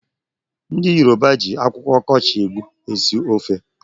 Ndị Yoroba ji akwụkwọ ọkọchị egbu esi ofe.